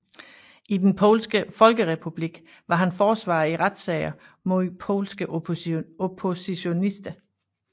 I den Polske Folkerepublik var han forsvarer i retssager mod polske oppositionister